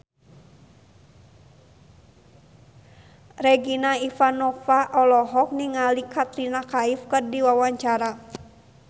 Regina Ivanova olohok ningali Katrina Kaif keur diwawancara